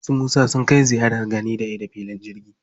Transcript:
Su Musa sun kai ziyarar gani-da-ido filin jirgin sama.